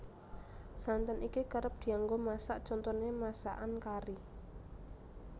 Santen iki kerep dianggo masak contoné masakan kari